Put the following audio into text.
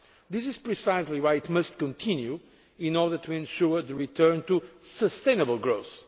This is precisely why it must continue in order to ensure a return to sustainable growth.